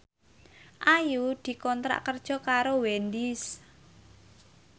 Ayu dikontrak kerja karo Wendys